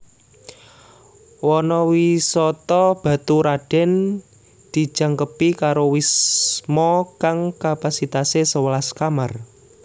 Wana Wisata Baturadèn dijangkepi karo wisma kang kapasitasé sewelas kamar